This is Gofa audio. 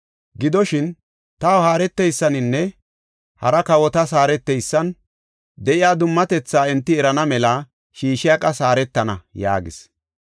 Gidoshin, taw haareteysaninne hara kawotas haareteysan de7iya dummatethaa enti erana mela Shishaaqas haaretana” yaagis.